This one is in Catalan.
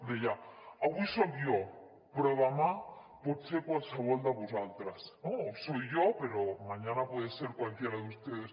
deia avui soc jo però demà pot ser qualsevol de vosaltres no o soy yo pero mañana puede ser cualquiera de ustedes